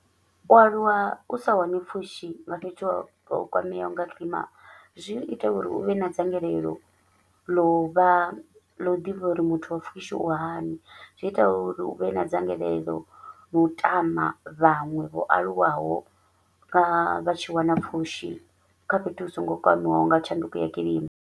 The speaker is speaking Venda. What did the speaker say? U aluwa u sa wani pfushi nga fhethu ho kwameaho nga kilima, zwi u ita uri u vhe na dzangalelo ḽa u vha ḽa u ḓivha uri muthu wa pfushi u hani, zwi u ita uri u vhe na dzangalelo ḽa u tama vhaṅwe vho aluwaho vha vha tshi wana pfushi kha fhethu hu so ngo kwamiwaho nga tshanduko ya kilima.